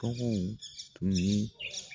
Bagan in tun ye